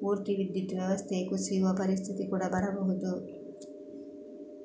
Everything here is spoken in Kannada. ಪೂರ್ತಿ ವಿದ್ಯುತ್ ವ್ಯವಸ್ಥೆಯೇ ಕುಸಿಯುವ ಪರಿಸ್ಥಿತಿ ಕೂಡಾ ಬರಬಹುದು